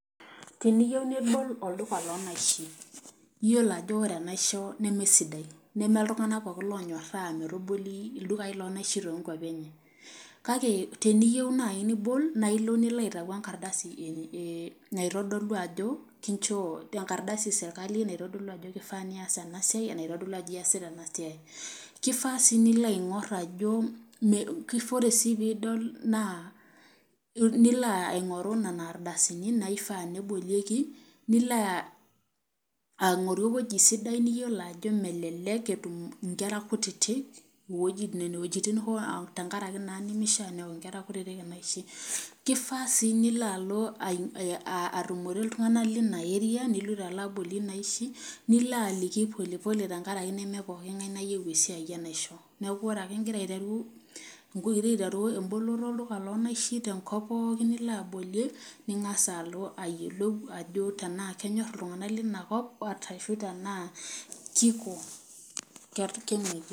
Teniyieu nibol olduka lonaishi ,yiolo ajo ore enaisho nemesidai ,neme iltunganak pookin onyoraa metaboli ildukai lonaishi tookwapi enye. kake teniyieu naaji nibol naa ilo nilo aitau enkardasi esirkali naitodolu ajo keifaa niyas ena siai ,nilo aingoru nena ardasini naifaa nebolieki ,nilo aingoru eweji sidai niyiolo ajo metum nkera kutitik tenkaraki naa nemishaa neok kutitik inaishi, keifaa sii nilo alo atumore iltunganak lina area niloito abolie nena aishi, nilo alo aliki polepole tenkaraki neme poki ngae oyieu esiai enaisho .neeku ore ake ingira aiteru emboloto alduka lonaishi tenkop pookin nilo abolie ningas alo ayiolou tenaa kenyor iltunganak linakop tenaa keina.